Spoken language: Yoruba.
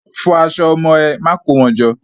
Fọ aṣọ ọmọ ẹ. Má kó wọn jọ!